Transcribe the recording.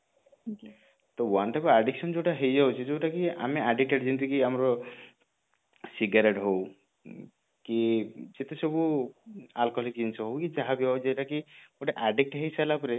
ତ one type of addiction ଯୋଉଟା ହେଇ ଯାଉଛି ତ ଯୋଉଟା କି ଆମେ addicted ଯେମିତି କି ଆମର cigarette ହଉ କି ଯେତେ ସବୁ alcoholic ଜିନିଷ ହଉ କି ଯାହା ବି ହଉ ଯୋଉଟା କି ଗୋଟେ addict ହେଇ ସରିଲା ପରେ